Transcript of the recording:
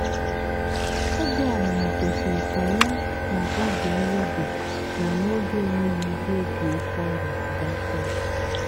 oge ọmụmụ kwesịrị ka ya n'oge nri dị na n'oge enweghị ihe egwu oke ọrịa gakọ.